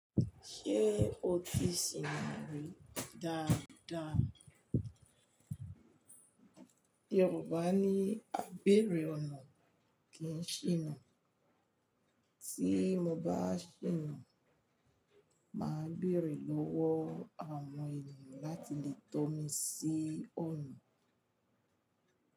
Ṣé o ti sìnà rí dáadáa? Yorùbá ní "A beèrè ọ̀nà kì n ṣìnà", tí mo bá ṣìnà, màá béèrè lọ́wọ́ àwọn ènìyàn láti lè tọ́ mi sí ọ̀nà.